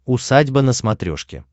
усадьба на смотрешке